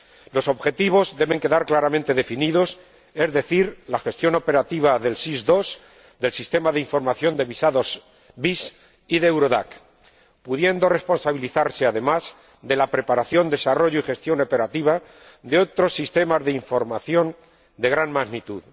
Los objetivos deben quedar claramente definidos, es decir, la gestión operativa del SIS II, del Sistema de Información de Visados y de Eurodac, pudiendo responsabilizarse además de la preparación, desarrollo y gestión operativa de otros sistemas de información de gran magnitud.